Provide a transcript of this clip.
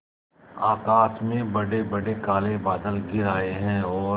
आकाश में बड़ेबड़े काले बादल घिर आए हैं और